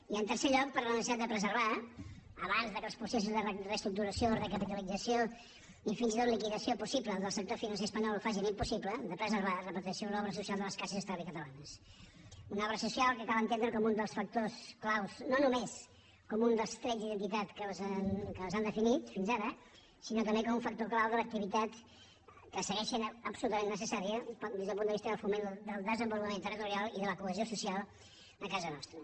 i en tercer lloc per la necessitat de preservar abans que els processos de reestructuració recapitalització i fins i tot liquidació possible del sector financer espanyol ho facin impossible l’obra social de les caixes d’es talvis catalanes una obra social que cal entendre no només com un dels trets d’identitat que les han definit fins ara sinó també com un factor clau de l’activitat que segueix sent absolutament necessària des del punt de vista del foment del desenvolupament territorial i de la cohesió social a casa nostra